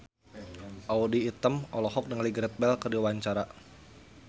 Audy Item olohok ningali Gareth Bale keur diwawancara